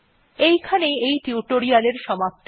এখানেই এই টিউটোরিয়াল্ এর সমাপ্তি হল